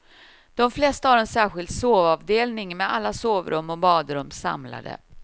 De flesta har en särskild sovavdelning med alla sovrum och badrum samlade.